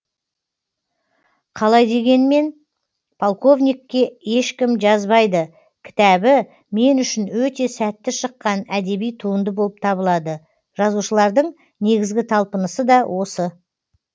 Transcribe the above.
қалай дегенмен полковникке ешкім жазбайды кітабы мен үшін өте сәтті шыққан әдеби туынды болып табылады жазушылардың негізгі талпынысы да осы